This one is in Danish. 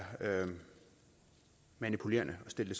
manipulerende at stille